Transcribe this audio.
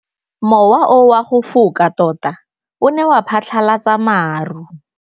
Mowa o wa go foka tota o ne wa phatlalatsa maru.